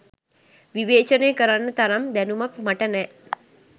විවේචනය කරන්න තරම් දැනුමක් මට නෑ